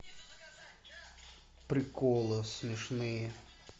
приколы смешные